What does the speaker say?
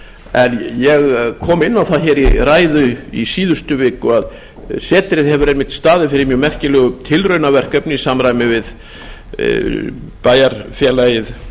en ég kom inn á það í ræðu í síðustu viku að setrið hefur einmitt staðið fyrir mjög merkilegu tilraunaverkefni í samræmi við